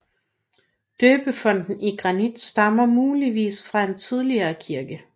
Døbefonten i granit stammer muligvis fra en tidligere kirke